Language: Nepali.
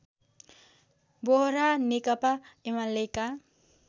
बोहरा नेकपा एमालेका